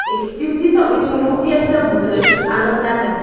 Ekspertiza uning ruhiyatida buzilish aniqladi.